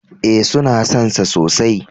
E, suna son sa sosai.